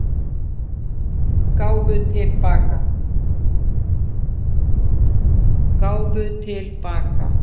Gáfu til baka